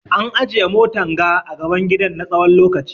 An ajiye motan ga a gaban gidan na tsawon lokaci.